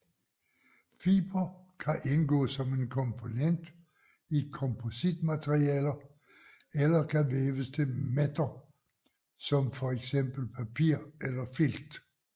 Fiber kan indgå som en komponent i kompositmaterialer eller kan væves til mætter som for eksempel papir eller filt